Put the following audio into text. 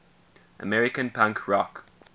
american punk rock